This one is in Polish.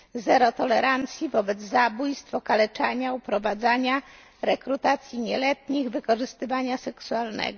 Zero tolerancji wobec zabójstw, okaleczania, uprowadzania, rekrutacji nieletnich, wykorzystywania seksualnego.